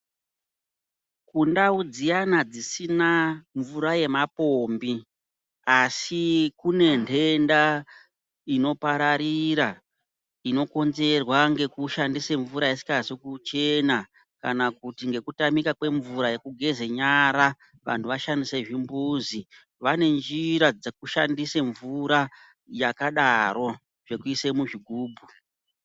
Kundau dziyana dzisina mvura yemapombi asi kune ndenda inopararira inokonzerwa ngekushandise mvura isingazi kuchena kana kuti ngekutamika kwemvura yekugeze nyara vantu vashandise zvimbuzi vanenjira dzekushandise mvura yakadaro zvekuise muzvigubhu.